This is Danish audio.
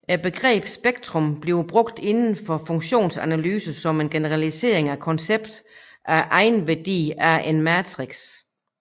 Begrebet spektrum bliver brugt inden for funktionsanalyse som en generalisering af konceptet af egenværdier af en matrix